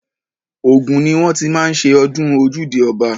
Ògùn ni wọ́n ti má ń ṣe ọdún ojúde ọba.